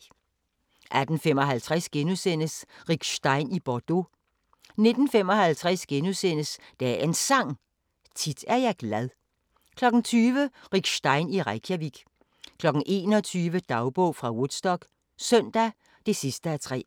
18:55: Rick Stein i Bordeaux * 19:55: Dagens Sang: Tit er jeg glad * 20:00: Rick Stein i Reykjavik 21:00: Dagbog fra Woodstock - søndag (3:3)